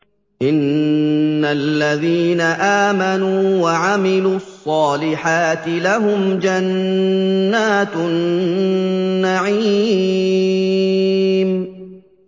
إِنَّ الَّذِينَ آمَنُوا وَعَمِلُوا الصَّالِحَاتِ لَهُمْ جَنَّاتُ النَّعِيمِ